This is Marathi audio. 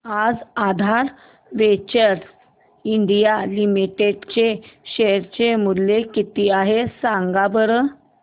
आज आधार वेंचर्स इंडिया लिमिटेड चे शेअर चे मूल्य किती आहे सांगा बरं